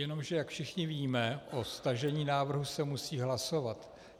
Jenomže jak všichni víme, o stažení návrhu se musí hlasovat.